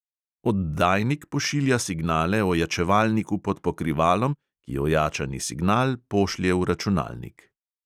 Oddajnik pošilja signale ojačevalniku pod pokrivalom, ki ojačani signal pošlje v računalnik.